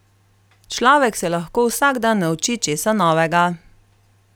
Človek se lahko vsak dan nauči česa novega.